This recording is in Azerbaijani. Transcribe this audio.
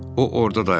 O orada dayanıb.